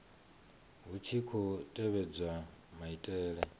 hu tshi khou tevhedzwa maitele